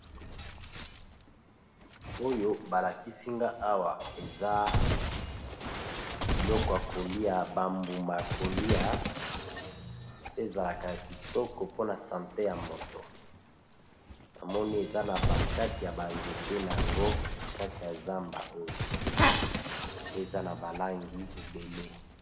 Oyo ba lakisi nga awa eza biloko ya kolia ba mbuma ya kolia pe ezalaka ya kitoko mpona sante ya moto, Na moni eza na ba kati ya ba nzete na yango na kati ya zamba oyo pe eza na ba langi ebele.